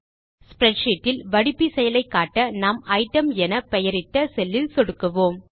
spreadsheet இல் வடிப்பி செயலை காட்ட நாம் ஐட்டம் என் பெயரிட்ட செல்லில் சொடுக்குவோம்